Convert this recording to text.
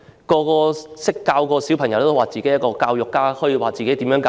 教過小朋友的人也會自稱教育家，可以把孩子教好。